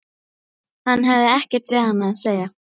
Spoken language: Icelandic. Hann hefði ekkert við hana að segja.